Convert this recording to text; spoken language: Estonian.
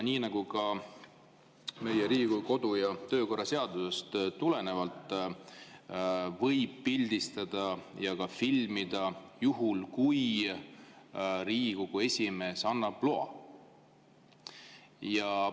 Riigikogu kodu‑ ja töökorra seadusest tulenevalt võib pildistada ja ka filmida juhul, kui Riigikogu esimees annab loa.